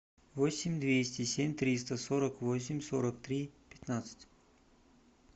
восемь двести семь триста сорок восемь сорок три пятнадцать